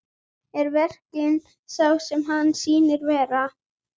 Er veruleikinn sá sem hann sýnist vera?